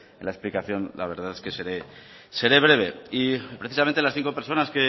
en la explicación la verdad que seré breve y precisamente las cinco personas